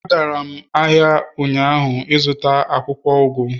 Agara m ahia ụnyaahụ ịzụta akwukwo ugu